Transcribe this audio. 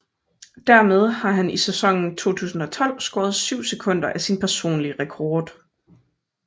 Dermed har han i sæsonen 2012 skåret 7 sekunder af sin personlige rekord